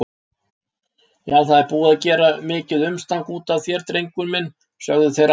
Já, það er búið að gera mikið umstang útaf þér, drengur minn, sögðu þeir alvarlegir.